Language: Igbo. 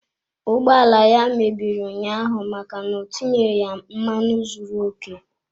Ụgbọ ala ya mebiri ụnyaahụ maka na o tinyeghị mmanụ zuru okè.